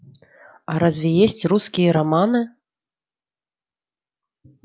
а разве есть русские романы